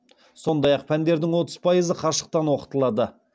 сондай ақ пәндердің отыз пайызы қашықтан оқытылады